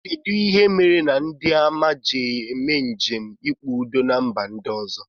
Kedụ ihe mere ndị amị ji eme njem ikpe udo na mba ndị ọzọ?